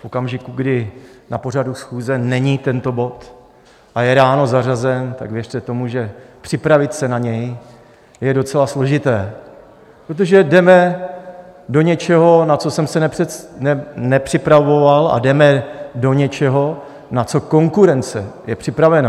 V okamžiku, kdy na pořadu schůze není tento bod a je ráno zařazen, tak věřte tomu, že připravit se na něj je docela složité, protože jdeme do něčeho, na co jsem se nepřipravoval, a jdeme do něčeho, na co konkurence je připravena.